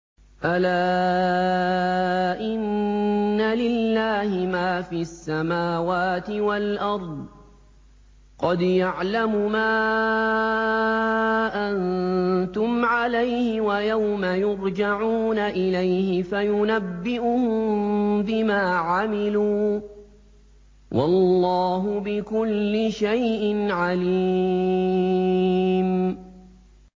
أَلَا إِنَّ لِلَّهِ مَا فِي السَّمَاوَاتِ وَالْأَرْضِ ۖ قَدْ يَعْلَمُ مَا أَنتُمْ عَلَيْهِ وَيَوْمَ يُرْجَعُونَ إِلَيْهِ فَيُنَبِّئُهُم بِمَا عَمِلُوا ۗ وَاللَّهُ بِكُلِّ شَيْءٍ عَلِيمٌ